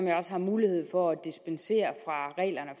jeg også har mulighed for at dispensere